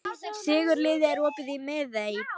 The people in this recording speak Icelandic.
Sigurliði, er opið í Miðeind?